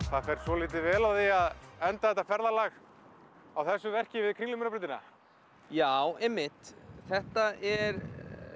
það fer svolítið vel á því að enda þetta ferðalag á þessu verki við Kringlumýrarbrautina já einmitt þetta er